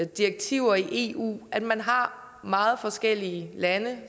direktiver i eu at man har meget forskellige lande